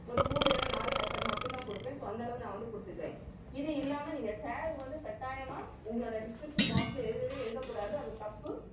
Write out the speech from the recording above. ஒரு மூணு இல்லைன்னா நாலு hashtag மட்டும்தான் கொடுப்பேன். so அந்த அளவு நான் வந்து கொடுத்துக்கிறேன். இது இல்லாம நீங்க tag வந்து கட்டாயமா உங்களோட description box ல எழுதவே எழுதக்கூடாது. அது தப்பு